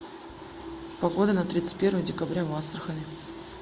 погода на тридцать первое декабря в астрахани